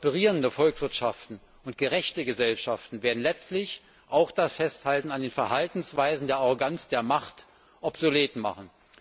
Prosperierende Volkswirtschaften und gerechte Gesellschaften werden letztlich auch das Festhalten an den Verhaltensweisen der Arroganz der Macht obsolet machen.